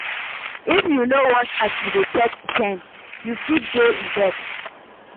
If yu no watch as yu dey take spend, yu fit dey in debt